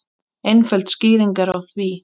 Einföld skýring er á því.